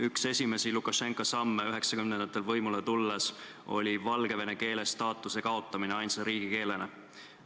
Üks esimesi Lukašenka samme 1990-ndatel võimule tulles oli valgevene keele kui ainsa riigikeele staatuse kaotamine.